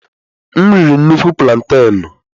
M riri nnukwu plantaịnụ.